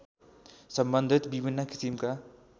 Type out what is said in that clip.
सम्बन्धित विभिन्न किसिमका